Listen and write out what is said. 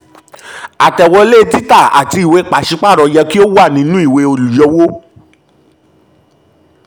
àtẹ̀wọlé um títà àti um ìwée pàṣípààrọ̀ yẹ kó um wà nínú ìwé olùyọwó